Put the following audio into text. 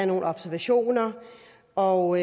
nogle observationer og